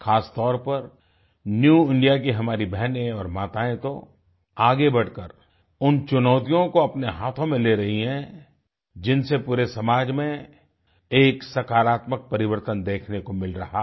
खासतौर पर new India की हमारी बहनें और माताएँ तो आगे बढ़कर उन चुनौतियों को अपने हाथों में ले रही हैं जिनसे पूरे समाज में एक सकारात्मक परिवर्तन देखने को मिल रहा है